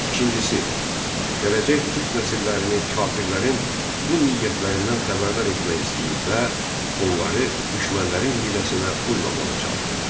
İkincisi, gələcək türk nəsillərini kafirlərin bu niyyətlərindən xəbərdar etmək istəyir və onları düşmənlərin hiyləsinə uymamağa çağırırdı.